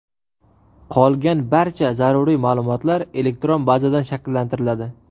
Qolgan barcha zaruriy ma’lumotlar elektron bazadan shakllantiriladi.